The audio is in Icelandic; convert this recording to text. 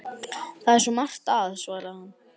Það er svo margt að- svaraði hann.